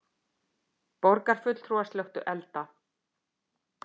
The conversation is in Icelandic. Borgarfulltrúar slökktu elda